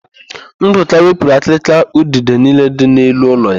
Ndụka wepụrụ akịrịka udide niile dị n'elu ụlọ ya.